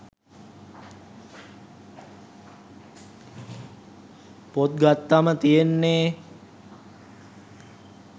පොත් ගත්තම තියෙන්නේ